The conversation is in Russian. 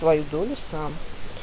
твою долю сам